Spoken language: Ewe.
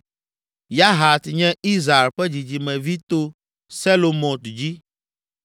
Yahat nye Izhar ƒe dzidzimevi to Selomot dzi;